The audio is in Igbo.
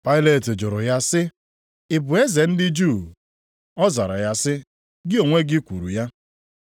Pailet jụrụ ya sị, “Ị bụ eze ndị Juu?” Ọ zara sị ya, “Gị onwe gị kwuru ya.”